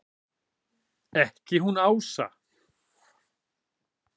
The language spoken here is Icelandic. Ekki hún Ása!